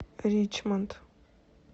ричмонд